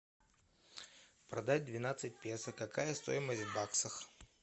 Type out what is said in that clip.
продать двенадцать песо какая стоимость в баксах